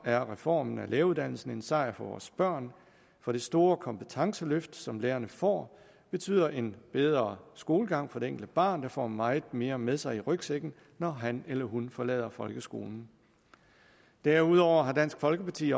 er reformen af læreruddannelsen en sejr for vores børn for det store kompetenceløft som lærerne får betyder en bedre skolegang for det enkelte barn der får meget mere med sig i rygsækken når han eller hun forlader folkeskolen derudover har dansk folkeparti